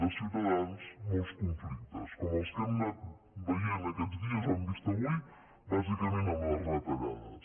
de ciutadans molts conflictes com els que hem anat veient aquests dies o hem vist avui bàsicament amb les retallades